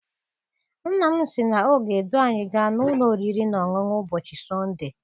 Nna m sị na ọ ga edu anyị gaa n'ụlọ oriri na ọṅụṅụ ụbọchị sọnde.